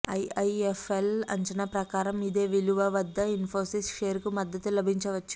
IIFL అంచనా ప్రకారం ఇదే విలు వ వద్ద ఇన్ఫోసిస్ షేరుకి మద్దతు లభించవచ్చు